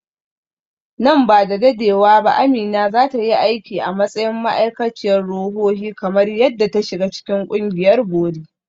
Nan ba da dadewa ba Amina za ta yi aiki a matsayin ma’aikaciyar ruhohi kamar yadda ta shiga cikin ƙungiyar bori.